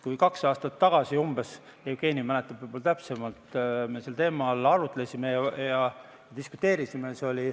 Umbes kaks aastat tagasi – Jevgeni mäletab võib-olla täpsemalt – me sel teemal arutlesime ja diskuteerisime.